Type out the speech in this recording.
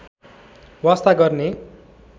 वास्ता गर्ने